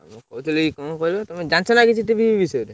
ମୁଁ କହୁଥିଲି କଣ କହିଲ ତମେ ଜାଣିଛନା କିଛି TV ଫିବି ବିଷୟରେ?